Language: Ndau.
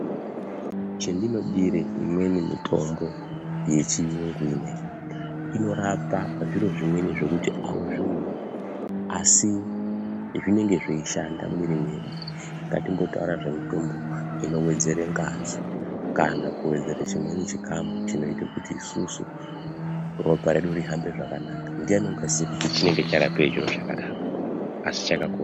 Chendinodire imweni mitombo yechiyungu ineyi, inorapa zviro zvimweni zvekuti auzvioni, asi inenge yeishanda mumwiri mwedu. Ngatimbotaurai zvemitombo inowedzera ngazi, kana kuwedzere chimweni chikamu chinoita kuti isusu ropa redu rihambe zvakanaka, ndiani ungaziya kuti chinenge charapeyi chiro chakadaro, asi chakakosha.